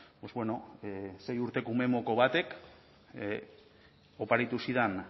pues bueno sei urteko umemoko batek oparitu zidan